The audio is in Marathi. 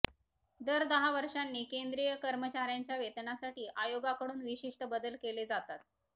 दर दहा वर्षांनी केंद्रीय कर्मचार्यांच्या वेतनासाठी आयोगाकडून विशिष्ट बदल केले जातात